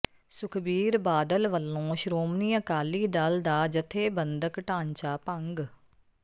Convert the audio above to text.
ਸੁਖਬੀਰ ਬਾਦਲ ਵਲੋਂ ਸ਼੍ਰੋਮਣੀ ਅਕਾਲੀ ਦਲ ਦਾ ਜਥੇਬੰਦਕ ਢਾਂਚਾ ਭੰਗ